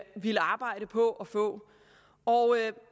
ville arbejde på at få